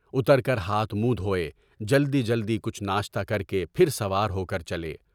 اُتر کر ہاتھ منہ دھوئے، جلد ہی جلد کچھ ناشتہ کر کے پھر سوار ہو کر چلے۔